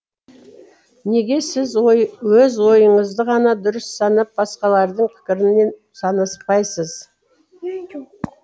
неге сіз өз ойыңызды ғана дұрыс санап басқалардың пікірімен санаспайсыз